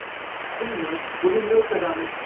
Kunni unumli o‘tkazamiz.